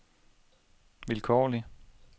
vilkårlig